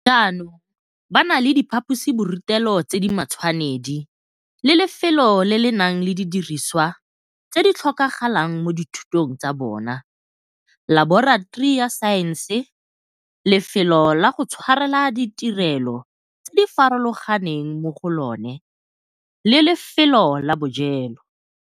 jaanong ba na le diphaposiborutelo tse di matshwanedi le lefelo le le nang le didirisiwa tse di tlhokagalang mo dithutong tsa bona, laboratori ya saense, lefelo la go tshwarela ditirelo tse di farologaneng mo go lona le lefelo la bojelo.